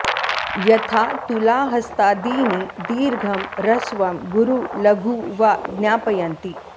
यथा तुलाहस्तादीनि दीर्घं ह्रस्वं गुरु लघु वा ज्ञापयन्ति